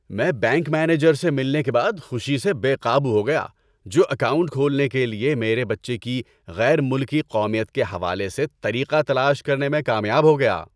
میں bank manager سے ملنے کے بعد خوشی سے بے قابو ہو گیا جو اکاؤنٹ کھولنے کے لیے میرے بچے کی غیر ملکی قومیت کے حوالے سے طریقہ تلاش کرنے میں کامیاب ہو گیا۔